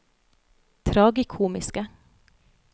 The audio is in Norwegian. tragikomiske